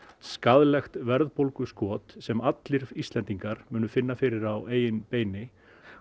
skaðlegt verðbólguskot sem allir Íslendingar finna fyrir á eigin beini